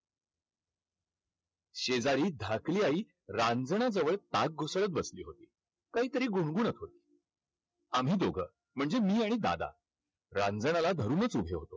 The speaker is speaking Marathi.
शेजारी धाकली आई रांजनाजवळ ताक घुसळत बसली होती. काहीतरी गुणगूणत होती. आम्ही दोघं म्हणजे मी आणि दादा रांजणाला धरूनच उभे होतो.